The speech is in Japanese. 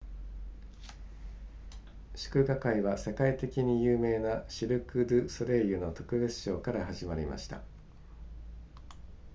祝賀会は世界的に有名なシルクドゥソレイユの特別ショーから始まりました